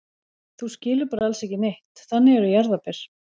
Þú skilur bara alls ekki neitt, þannig eru jarðarber.